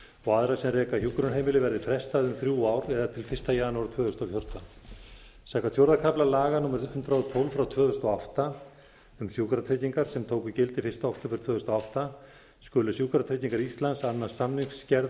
og aðra sem reka hjúkrunarheimili verði frestað um þrjú ár eða til fyrsta janúar tvö þúsund og fjórtán samkvæmt fjórða kafla laga númer hundrað og tólf tvö þúsund og átta um sjúkratryggingar sem tóku gildi fyrsta október tvö þúsund og átta skulu sjúkratryggingar íslands annast samningagerð